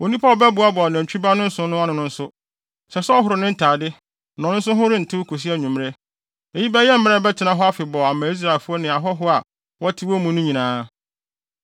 Onipa a ɔbɛboaboa nantwi ba no nsõ no ano no nso, ɛsɛ sɛ ɔhoro ne ntade, na ɔno nso ho rentew kosi anwummere. Eyi bɛyɛ mmara a ɛbɛtena hɔ afebɔɔ ama Israelfo no ne ahɔho a wɔte wɔn mu no nyinaa.